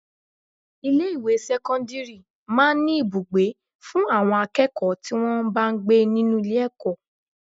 Ilé ìwé sẹ́kọ́ńdírì máa ń ní Ibùgbé fún àwọn akẹ́kọ̀ọ́ tí wọn bá ń gbé nínú ilé ẹ̀kọ́.